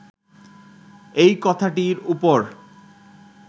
এই কথাটির উপর